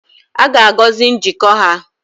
A ga-agọzi njikọ ha